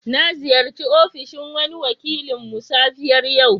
Na ziyarce ofishin wani wakilinmu safiyar yau.